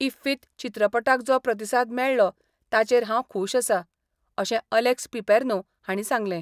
इफ्फीत चित्रपटाक जो प्रतिसाद मेळ्ळो ताचेर हांव खुश आसा, अशें अलेक्स पिपेर्नो हांणी सांगलें.